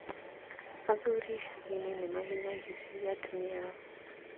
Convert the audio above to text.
Athuri icagi-inĩ nĩ mahinyagĩrĩria atumia ao